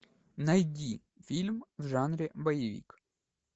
найди фильм в жанре боевик